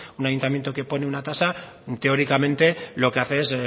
un ayuntamiento que pone una tasa teóricamente lo que hace es